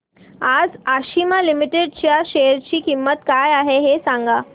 आज आशिमा लिमिटेड च्या शेअर ची किंमत काय आहे हे सांगा